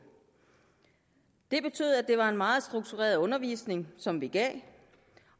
det betød at det var en meget struktureret undervisning som vi gav